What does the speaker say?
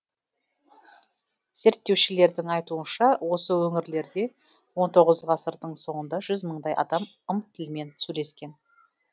зерттеушілердің айтуынша осы өңірлерде он тоғыз ғасырдың соңында жүз мыңдай адам ым тілімен сөйлескен